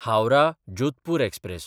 हावराह–जोधपूर express